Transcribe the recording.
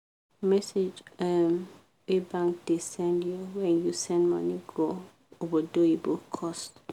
message um wey bank da send you when you send money go obodoyibo cost